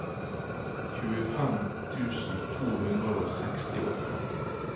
tjuefem tusen to hundre og sekstiåtte